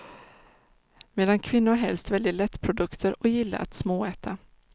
Medan kvinnor helst väljer lättprodukter och gillar att småäta.